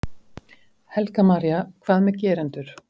Helga María: Hvað með gerendur?